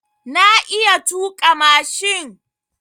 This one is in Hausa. Na iya tuƙa mashin.